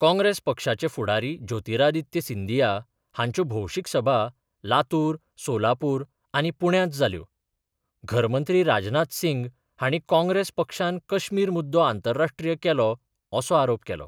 काँग्रेस पक्षाचे फुडारी ज्योतिरादित्य सिंदीया हांच्यो भौशीक सभा लातूर, सोलापूर आनी पुण्यांत जाल्यो घरमंत्री राजनाथ सिंग हांणी काँग्रेस पक्षान कश्मीर मुद्दो आंतरराष्ट्रीय केलो असो आरोप केलो.